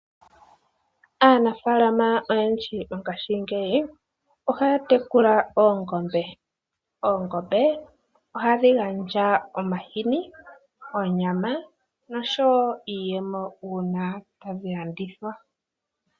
Aanafaalama oyendji mongashingeyi ohaya tekula oongombe. Oongombe ohadhi gandja omahini, onyama noshowo iiyemo uuna tadhi landithwa.